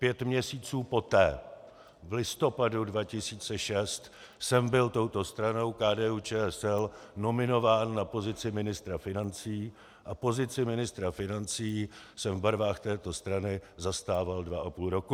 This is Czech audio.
Pět měsíců poté, v listopadu 2006, jsem byl touto stranou KDU-ČSL nominován na pozici ministra financí a pozici ministra financí jsem v barvách této strany zastával dva a půl roku.